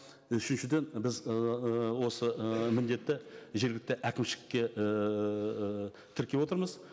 үшіншіден біз ыыы осы ы міндетті жергілікті әкімшілікке ііі тіркеп отырмыз